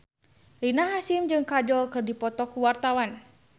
Rina Hasyim jeung Kajol keur dipoto ku wartawan